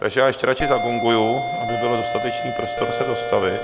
Takže já ještě radši zagonguji, aby byl dostatečný prostor se dostavit.